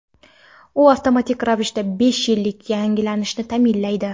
U avtomatik ravishda besh yillik yangilanishni ta’minlaydi.